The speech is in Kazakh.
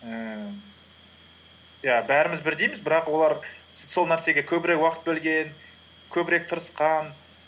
ііі иә бәріміз бірдейміз бірақ олар сол нәрсеге көбірек уақыт бөлген көбірек тырысқан